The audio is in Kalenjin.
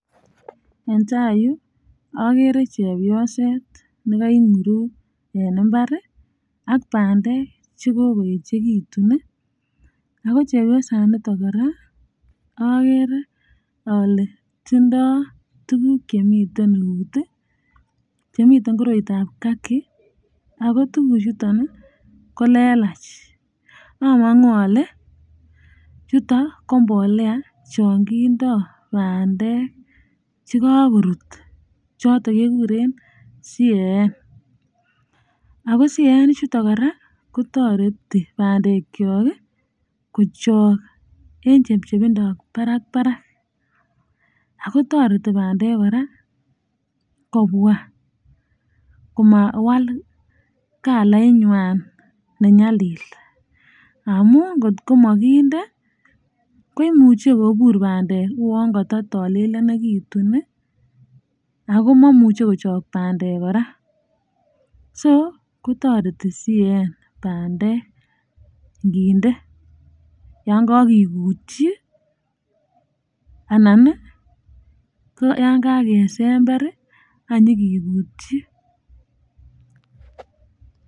En tai Yu agere chepyoset nekai ikunguruk en imbar ak bandek chekokoyechekitun ii ago chepyosaniton koraa agere ale tindoo tuguk chemiten out chemiten koroitoo ab kaki ago tuguk ichuton kolelach amangu ale ichuton ko mbolea chon kindoo bandek che kakorut choton keguren CAN ago CAN ichuton koraaa kotoreti bandek chok kochok en chepchepbindoo barak barak ago toreti bandek koraa kobwa komawal kalait nywan ne nyalil amun kotkomokinde ko imuche kobur bandek uwon kata talelionekitun ago momuche kochok bandek koraa so kotoreti CAN bandek ikinde yon kakikutii anan ko yakesember ak nyikikutyi.